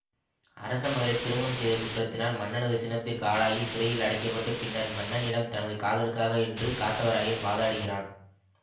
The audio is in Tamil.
அரசமகளை திருமணம் செய்த குற்றத்தினால் மன்னனது சினத்திற்கு ஆளாகி சிறையில் அடைக்க பட்டு பின்னர் மன்னனிடம் தனது காதலுக்காக என்று காத்தவராயன் வாதிடுகிறான்